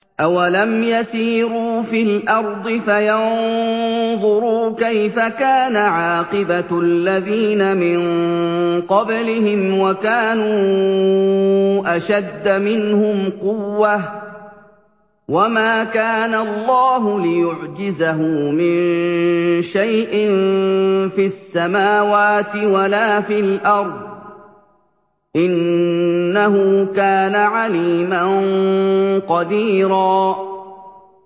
أَوَلَمْ يَسِيرُوا فِي الْأَرْضِ فَيَنظُرُوا كَيْفَ كَانَ عَاقِبَةُ الَّذِينَ مِن قَبْلِهِمْ وَكَانُوا أَشَدَّ مِنْهُمْ قُوَّةً ۚ وَمَا كَانَ اللَّهُ لِيُعْجِزَهُ مِن شَيْءٍ فِي السَّمَاوَاتِ وَلَا فِي الْأَرْضِ ۚ إِنَّهُ كَانَ عَلِيمًا قَدِيرًا